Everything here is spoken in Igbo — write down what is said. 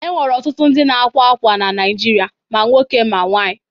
E nwere ọtụtụ ndị na-akwa akwa na Naịjirịa; ma nwoke ma nwaanyị.